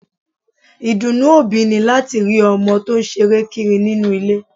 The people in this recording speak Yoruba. Ìdùnnú òbí ni láti rí ọmọ tó ṣeré kiri nínú ilé